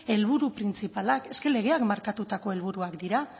helburu printzipalak legeak markatutako helburuak dira